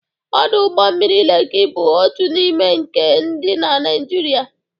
Ọdọ ụgbọ mmiri Leki bụ otu n'ime nke dị na Naịjịrịa.